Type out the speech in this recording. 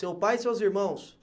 Seu pai e seus irmãos?